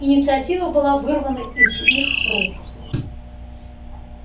инициатива была вырвана из их рук